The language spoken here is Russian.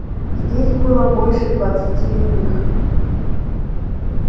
здесь было больше двадцати иных